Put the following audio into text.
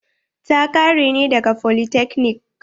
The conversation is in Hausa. Ta ƙare ne daga folytekni.